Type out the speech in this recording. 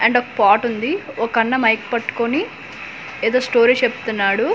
And ఒక pot ఉంది ఒక అన్న మైక్ పట్టుకొని ఏదో స్టోరీ చెప్పుతున్నాడు.